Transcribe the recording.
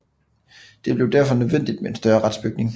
Det blev derfor nødvendigt med en større retsbygning